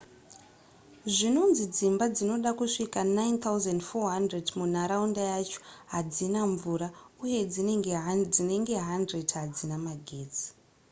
zvinonzi dzimba dzinoda kusvika 9400 munharaunda yacho hadzina mvura uye dzinenge 100 hadzina magetsi